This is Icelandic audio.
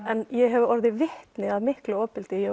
en ég hef orðið vitni að miklu ofbeldi